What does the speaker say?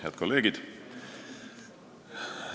Head kolleegid!